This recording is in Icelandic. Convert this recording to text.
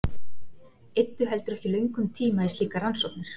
Eyddu heldur ekki löngum tíma í slíkar rannsóknir.